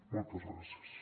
moltes gràcies